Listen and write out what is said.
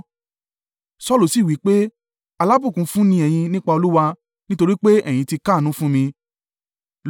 Saulu sì wí pé, “Alábùkún fún ni ẹ̀yin nípa Olúwa; nítorí pé ẹ̀yin ti káàánú fún mi.